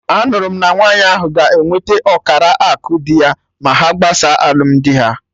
Anụrụ m na nwaanyị ahụ ga enwete ọkara akụ dị ya ma ha gbasaa alụmdi ha